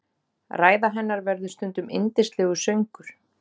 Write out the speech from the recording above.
Ræða hennar verður stundum yndislegur söngur.